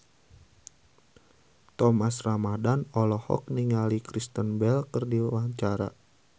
Thomas Ramdhan olohok ningali Kristen Bell keur diwawancara